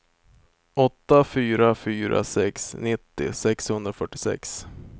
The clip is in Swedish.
åtta fyra fyra sex nittio sexhundrafyrtiosex